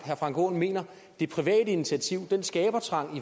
herre frank aaen mener at det private initiativ og den skabertrang